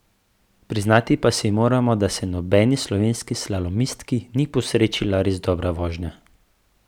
Priznati pa si moramo, da se nobeni slovenski slalomistki ni posrečila res dobra vožnja.